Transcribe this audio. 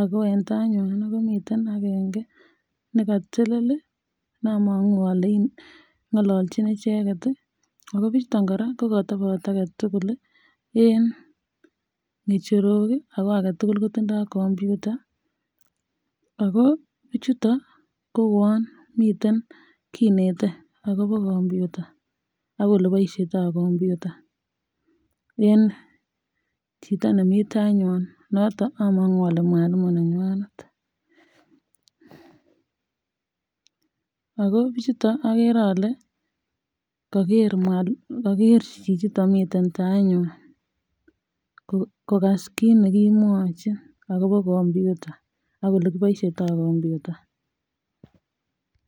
ako en taywan komiten akenge nekatelel namangu ale inete ngalanjinbichetet akobichuton koraa kokatabatso aketugul en ngecherok ako agetugul kotindo computa ako bik chuton kouwon miten kinete akobo computa akoyelebaishitoi computa en Chito nemiten taiywan noton amangu bale Mwalimu nenywanet ? Ako bichuto ko akeree ale Kager chichiton miten tai nywan kokas kit nekimwae akobo computa chiton akoleikiboishitoi computa